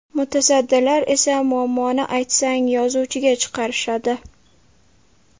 Mutasaddilar esa muammoni aytsang, ‘yozuvchi’ga chiqarishadi.